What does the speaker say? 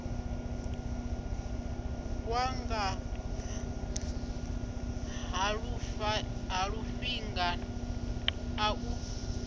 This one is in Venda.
wanga ha lufaṱinga a lu